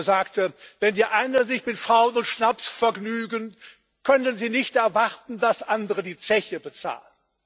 Er sagte Wenn die einen sich mit Frauen und Schnaps vergnügen, können sie nicht erwarten, dass andere die Zeche bezahlen!